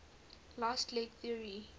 fast leg theory